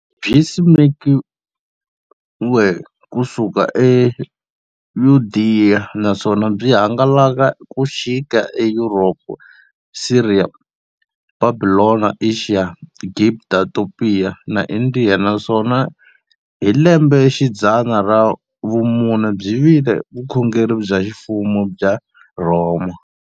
Byisimekiwe ku suka eYudeya, naswona byi hangalake ku xika eYuropa, Siriya, Bhabhilona, Ashiya, Gibhita, Topiya na Indiya, naswona hi lembexidzana ra vumune byi vile vukhongeri bya ximfumo bya le Rhoma.